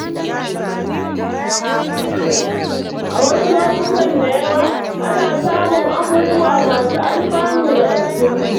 A wasu lokutan da yawa, ana samun abubuwa masu alfanu daga cikinsu.